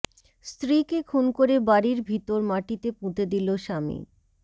স্ত্রীকে খুন করে বাড়ির ভিতর মাটিতে পুঁতে দিল স্বামী